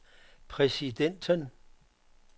præsidenten